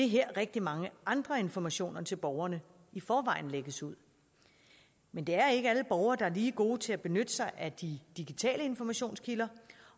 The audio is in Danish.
her rigtig mange andre informationer til borgerne i forvejen lægges ud men det er ikke alle borgere der er lige gode til at benytte sig af de digitale informationskilder